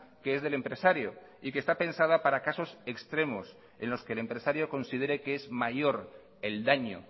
que es del empresario y que está pensada para casos extremos en los que el empresario considere que es mayor el daño